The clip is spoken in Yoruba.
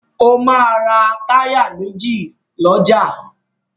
Ó máa ra táyà méjì lọ́jà.